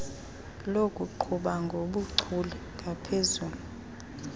lokuqhuba ngobuchule ngaphezu